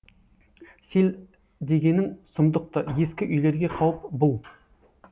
сел дегенің сұмдық ты ескі үйлерге қауіп бұл